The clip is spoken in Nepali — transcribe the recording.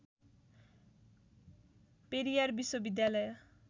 पेरियार विश्वविद्यालय